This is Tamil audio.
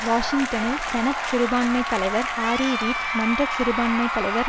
வாஷிங்டனில் செனட் சிறுபான்மை தலைவர் ஹாரி ரீட் மன்ற சிறுபான்மைத்தலைவர்